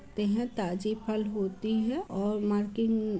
तहँ ताजे फल होती हैं और मार्किन --